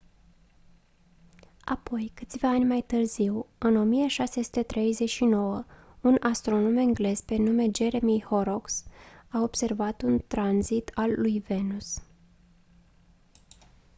apoi câțiva ani mai târziu în 1639 un astronom englez pe nume jeremiah horrocks a observat un tranzit al lui venus